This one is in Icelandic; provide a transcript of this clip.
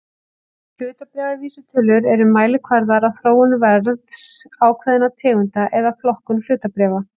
Hlutabréfavísitölur eru mælikvarðar á þróun verðs ákveðinna tegunda eða flokka hlutabréfa.